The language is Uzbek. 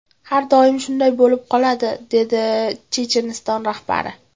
Har doim shunday bo‘lib qoladi”, dedi Checheniston rahbari.